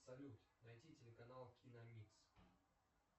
салют найти телеканал киномикс